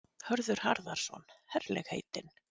Hörður Harðarson: Herlegheitin?